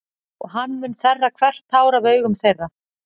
Og hann mun þerra hvert tár af augum þeirra.